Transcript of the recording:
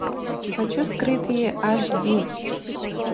хочу скрытые аш ди